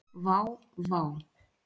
Vá, vá.